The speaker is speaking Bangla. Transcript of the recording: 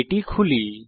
এটি খুলি